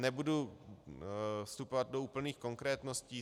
Nebudu vstupovat do úplných konkrétností.